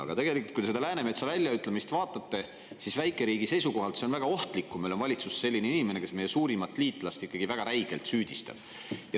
Aga kui te seda Läänemetsa väljaütlemist vaatate, siis tegelikult on see väikeriigi seisukohalt väga ohtlik, kui meil on valitsuses selline inimene, kes meie suurimat liitlast ikkagi väga räigelt süüdistab.